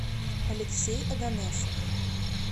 алексей оганесов